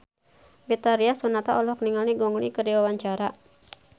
Betharia Sonata olohok ningali Gong Li keur diwawancara